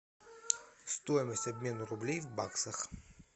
стоимость обмена рублей в баксах